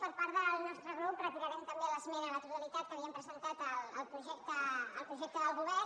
per part del nostre grup retirarem també l’esmena a la totalitat que havíem presentat al projecte del govern